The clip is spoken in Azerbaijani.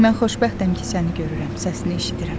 Mən xoşbəxtəm ki, səni görürəm, səsini eşidirəm.